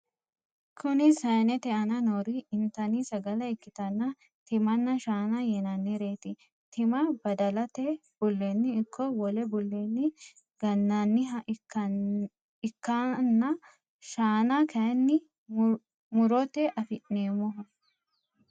Kuni saanete aana noori intanni sagale ikkitanna timanna shaana yinannireet. tima badalete bullenni ikko wole bullenni gannanniha ikkanna shaana kayini murote afi'neemmoho.